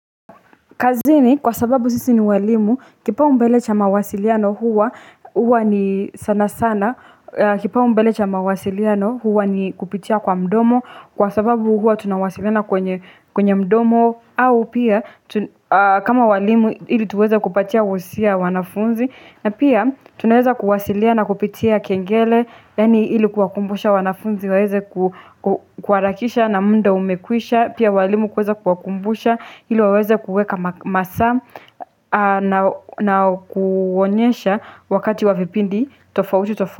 Kazini kwa sababu sisi ni walimu kipau mbele cha mawasiliano huwa huwa ni sana sana kipau mbele cha mawasiliano huwa ni kupitia kwa mdomo kwa sababu huwa tunawasiliana kwenye mdomo au pia kama walimu ili tuweza kupatia usia wanafunzi na pia tuneza kuwasilia na kupitia kengele leni ili kuwakumbusha wanafunzi waeze kuwarakisha na mnda umekwisha pia walimu kuweza kuwakumbusha ili waeze kuweka masa na kuwonyesha wakati wavipindi tofauti tofauti.